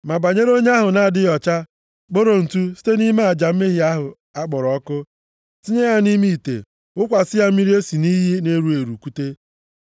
“Ma banyere onye ahụ na-adịghị ọcha, kporo ntụ site nʼime aja mmehie ahụ a kpọrọ ọkụ, tinye ya nʼime ite, wụkwasị ya mmiri e si nʼiyi na-eru eru kute.